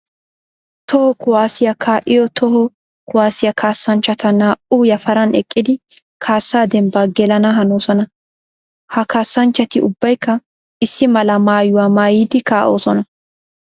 Toho kuwasiya kaa'iya toho kuwasiya kaassanchchatta naa''u yafaran eqiddi kaassa dembba gelana hanosonna. Ha kaassanchchati ubbaykka issi mala maayuwa maayiddi kaa'osonna.